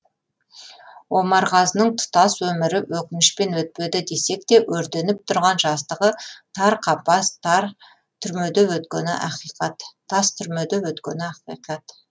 омарғазының тұтас өмірі өкінішпен өтпеді десекте өртеніп тұрған жастығы тар қапас тас тұрмеде өткені ақиқат